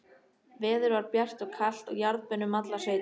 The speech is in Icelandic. Veður var bjart og kalt og jarðbönn um allar sveitir.